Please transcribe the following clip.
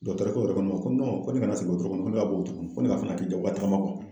Dɔgɛtɔrɔkɛ yɛrɛ ko ne ma ko ko ne kana sigi wotoro kɔnɔ, ko ne ka bɔ wotoro kɔnɔ, ko ne ka f'a ɲɛna a k'i diyagoya taama